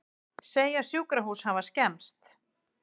Segja sjúkrahús hafa skemmst